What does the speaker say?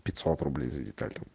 пятьсот рублей за деталь там